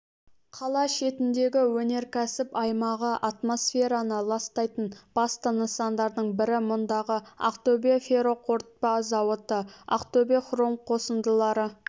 қала шетіндегі өнеркәсіп аймағы атмосфераны ластайтын басты нысандардың бірі мұндағы ақтөбе ферроқорытпа зауыты ақтөбе хром қосындылары